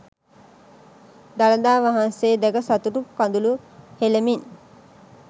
දළදා වහන්සේ දැක සතුටු කඳුළු හෙලමින්